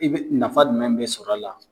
I bi nafa jumɛn be sɔrɔ la ?